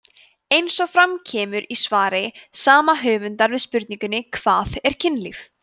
eins og fram kemur í svari sama höfundar við spurningunni hvað er kynlíf